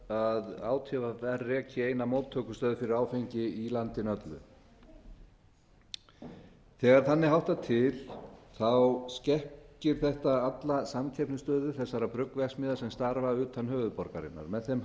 að átvr reki eina móttökustöð fyrir áfengi í landinu öllu þegar þannig háttar til skekkir þetta alla samkeppnisstöðu þessara bruggverksmiðja sem stafa utan höfuðborgarinnar með þeim